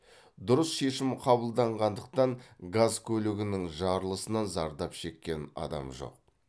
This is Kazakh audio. дұрыс шешім қабылданғандықтан газ көлігінің жарылысынан зардап шеккен адам жоқ